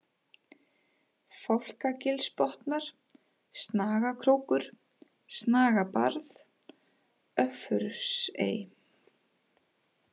Fálkagilsbotnar, Snagakrókur, Snagabarð, Öffursey